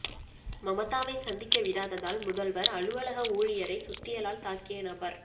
மமதாவை சந்திக்க விடாததால் முதல்வர் அலுவலக ஊழியரை சுத்தியலால் தாக்கிய நபர்